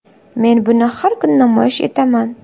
Men buni har kuni namoyish etaman.